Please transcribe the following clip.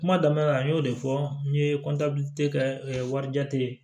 Kuma daminɛ la n y'o de fɔ n ye kɛ warijate ye